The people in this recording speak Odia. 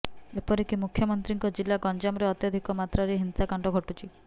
ଏପରିକି ମୁଖ୍ୟମନ୍ତ୍ରୀଙ୍କ ଜିଲ୍ଲା ଗଞ୍ଜାମରେ ଅତ୍ୟଧିକ ମାତ୍ରାରେ ହିଂସାକାଣ୍ଡ ଘଟୁଛି